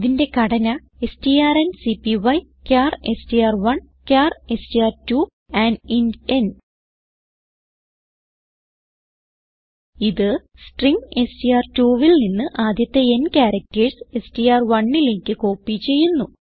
ഇതിന്റെ ഘടന strncpyചാർ എസ്ടിആർ1 ചാർ എസ്ടിആർ2 ആൻഡ് ഇന്റ് ന് ഇത് സ്ട്രിംഗ് എസ്ടിആർ2 ൽ നിന്ന് ആദ്യത്തെ n ക്യാരക്ടർസ് str1ലേക്ക് കോപ്പി ചെയ്യുന്നു